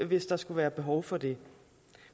hvis der skulle være behov for det